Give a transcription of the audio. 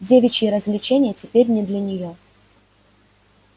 девичьи развлечения теперь не для неё